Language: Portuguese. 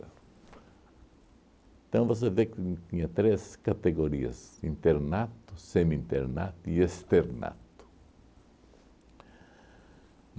Então você vê que tinha três categorias, internato, semi-internato e externato.